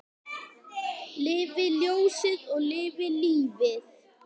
Lifi ljósið og lifi lífið!